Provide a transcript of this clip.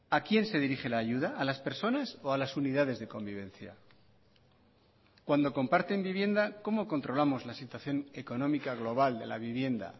a quién se dirige la ayuda a las personas o a las unidades de convivencia cuando comparten vivienda cómo controlamos la situación económica global de la vivienda